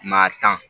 Maa tan